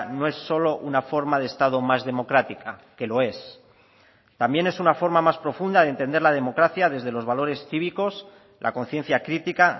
no es solo una forma de estado más democrática que lo es también es una forma más profunda de entender la democracia desde los valores cívicos la conciencia crítica